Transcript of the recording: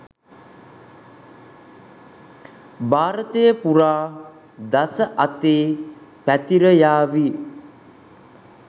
භාරතය පුරා දස අතේ පැතිරයාවි.